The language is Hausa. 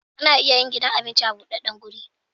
Ana iya yin gidan abinci a budaddan guri